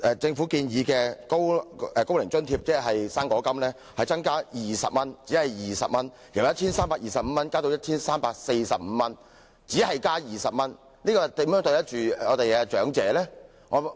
政府本年建議把"高齡津貼"的金額調高20元，由 1,325 元增至 1,345 元，只是把金額調高20元，究竟如何對得起我們的長者呢？